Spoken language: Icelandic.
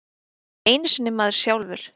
Ekki einu sinni maður sjálfur.